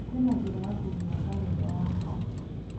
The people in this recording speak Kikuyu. kwĩna njĩra ya kũhura karenda yakwa